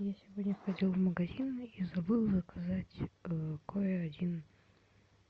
я сегодня ходил в магазин и забыл заказать кое один